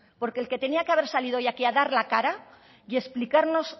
porque el que tenía que haber salir hoy aquí a dar la cara y explicarnos